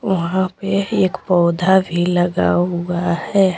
वहां पे येक पौधा भी लगा हुआ है।